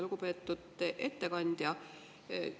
Lugupeetud ettekandja!